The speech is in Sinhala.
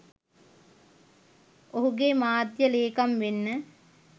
ඔහුගේ මාධ්‍ය ලේකම් වෙන්න